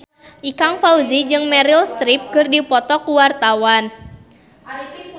Ikang Fawzi jeung Meryl Streep keur dipoto ku wartawan